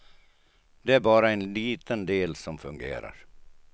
Det är bara en liten del som fungerar.